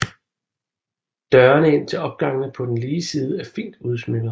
Dørene ind til opgangene på den lige side er fint udsmykkede